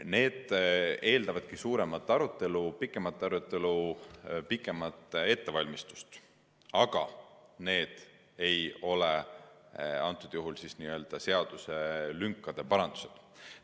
Need eeldavadki suuremat arutelu, pikemat arutelu, pikemat ettevalmistust, aga need ei ole seaduselünkade parandused.